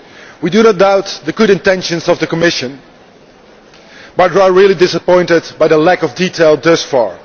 We do not doubt the good intentions of the Commission, but we are really disappointed by the lack of detail thus far.